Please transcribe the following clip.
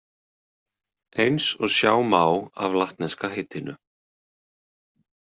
Eins og sjá má af latneska heitinu.